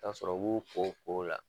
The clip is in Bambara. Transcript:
Ta'a sɔrɔ u b'u ko ko o la